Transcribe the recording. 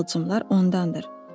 Bu qığılcımlar ondandır.